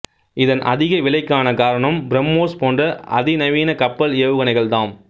இதன் அதிக விலைக்கான காரணம் பிரம்மோஸ் போன்ற அதி நவீன கப்பல் ஏவுகணைகள்தாம்